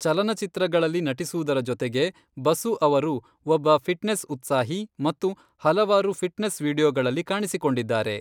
ಚಲನಚಿತ್ರಗಳಲ್ಲಿ ನಟಿಸುವುದರ ಜೊತೆಗೆ, ಬಸು ಅವರು ಒಬ್ಬ ಫಿಟ್ನೆಸ್ ಉತ್ಸಾಹಿ ಮತ್ತು ಹಲವಾರು ಫಿಟ್ನೆಸ್ ವೀಡಿಯೊಗಳಲ್ಲಿ ಕಾಣಿಸಿಕೊಂಡಿದ್ದಾರೆ.